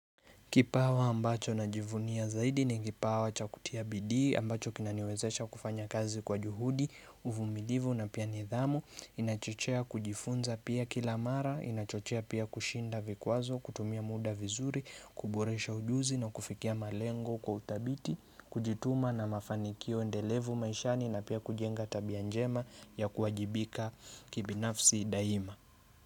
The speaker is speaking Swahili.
Kipawa ambacho na jivunia zaidi ni kipawa cha kutiabidi ambacho kinaniwezesha kufanya kazi kwa juhudi, uvumilivu na pia nidhamu, inachochea kujifunza pia kilamara, inachochea pia kushinda vikwazo, kutumia muda vizuri, kuboresha ujuzi na kufikia malengo kwa uthabiti, kujituma na mafanikio endelevu maishani na pia kujenga tabianjema ya kuajibika kibinafsi daima.